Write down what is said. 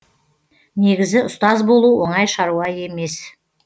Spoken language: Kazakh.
негізі ұстаз болу оңай шаруа емес